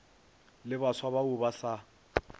le baswa bao ba sa